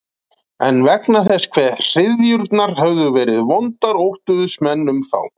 En vegna þess hve hryðjurnar höfðu verið vondar óttuðust menn um þá.